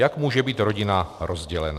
Jak může být rodina rozdělena?